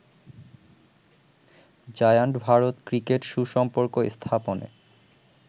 giant Bharat cricket সুসম্পর্ক স্থাপনে